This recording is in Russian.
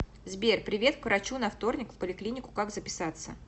сбер привет к врачу на вторник в поликлинику как записаться